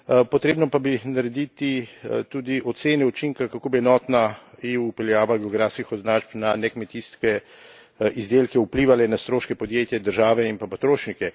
Potrebno pa bi bilo narediti tudi ocene učinka, kako bi enotna EU vpeljava geografskih označb na nekmetijske izdelke vplivala na stroške podjetja, države in pa potrošnike.